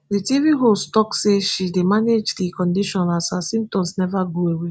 di tv host tok say she dey manage di condition as her symptoms neva go away